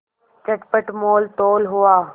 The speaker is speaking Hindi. चटपट मोलतोल हुआ